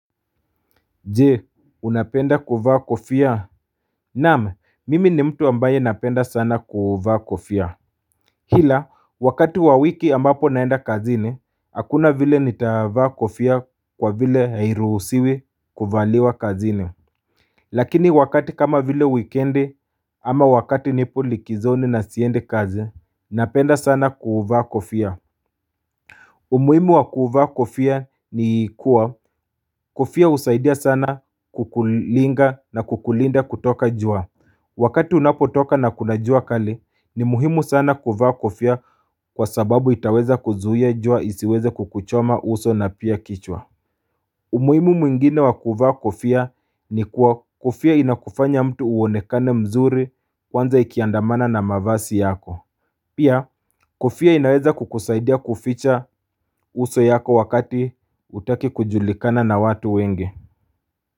Je unapenda kuvaa kofia Naam mimi ni mtu ambaye napenda sana kuvaa kofia kila wakati wa wiki ambapo naenda kazini hakuna vile nitavaa kofia kwa vile hairuhusiwi kuvaliwa kazini lakini wakati kama vile wikiendi ama wakati nipo likizoni na siendi kazini Napenda sana kuvaa kofia umuhimu wa kuvaa kofia ni kuwa, kofia husaidia sana kukulinga na kukulinda kutoka jua wakati unapotoka na kuna jua kali ni muhimu sana kuvaa kofia kwasababu itaweza kuzuia jua isiweze kukuchoma uso na pia kichwa umuhimu mwingine wa kuvaa kofia ni kuwa kofia inakufanya mtu uonekane mzuri kwanza ikiandamana na mavazi yako pia kofia inaweza kukusaidia kuficha uso yako wakati hutaki kujulikana na watu wengi.